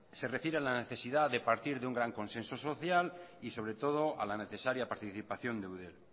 se refiere a la necesidad de partir de un gran consenso social y sobre todo a la necesaria participación de eudel